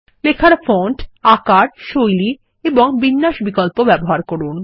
লেখায় ফন্ট আকার শৈলী এবং বিন্যাস বিকল্প ব্যবহার করুন